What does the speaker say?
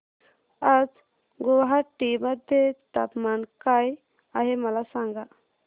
आज गुवाहाटी मध्ये तापमान काय आहे मला सांगा